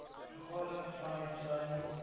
vergadering vanuit sy